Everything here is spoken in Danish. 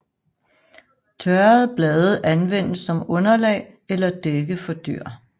Tørrede blade anvendes som underlag eller dække for dyr